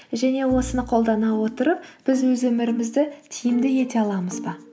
және осыны қолдана отырып біз өз өмірімізді тиімді ете аламыз ба